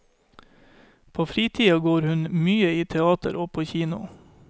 På fritida går hun mye i teater og på kino.